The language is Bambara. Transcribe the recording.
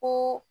Ko